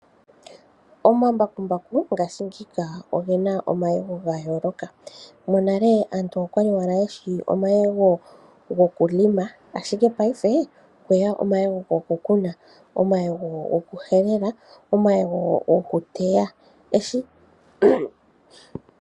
Omambakumbaku ngashi ngika ogena omayego gayooloka, monale aantu okwa li owala yeshi omayego go ku lima, ashike paife okwe ya omayego go ku kuna, omayego go ku helela, omayego go ku teya.